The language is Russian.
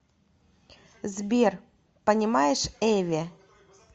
сбер понимаешь эве